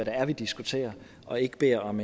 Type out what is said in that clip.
er vi diskuterer og ikke beder om